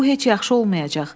Bu heç yaxşı olmayacaq.